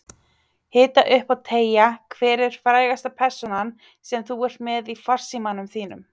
Hita upp og teygja Hver er frægasta persónan sem þú ert með í farsímanum þínum?